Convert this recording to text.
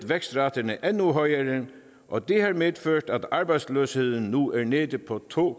vækstraterne endnu højere og det har medført at arbejdsløsheden nu er nede på to